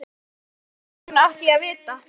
Elskan mín. hvernig í ósköpunum átti ég að vita.